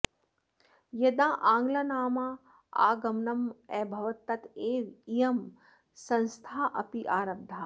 यदा आङ्ग्लानाम् आगमनम् अभवत् तदैव इयं संस्था अपि आरब्धा